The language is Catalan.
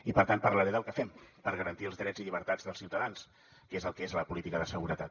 i per tant parlaré del que fem per garantir els drets i llibertats dels ciutadans que és el que és la política de seguretat